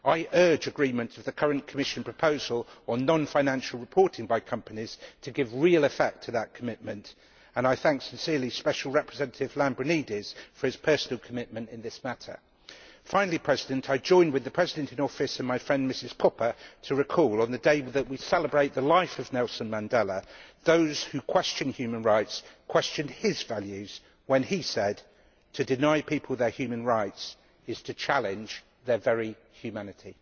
I urge agreement with the current Commission proposal on non financial reporting by companies to give real effect to that commitment and I thank sincerely Special Representative Lambrinidis for his personal commitment in this matter. Finally, I join with the President in Office and my friend, Ms Koppa, to recall on the day that we celebrate the life of Nelson Mandela that those who question human rights question his values when he said ʻTo deny people their human rights is to challenge their very humanityʼ.